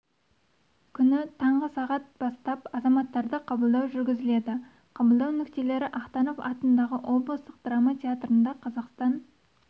күні таңғы сағат бастап азаматтарды қабылдау жүргізіледі қабылдау нүктелері ахтанов атындағы облыстық драма театрында қазақстан